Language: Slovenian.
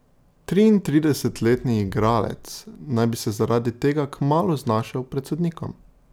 Triintridesetletni igralec naj bi se zaradi tega kmalu znašel pred sodnikom.